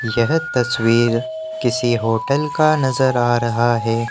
यह तस्वीर किसी होटल का नजर आ रहा है।